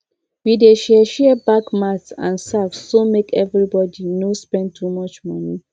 we dey share share bag mat and sack so make everybody no spend too much money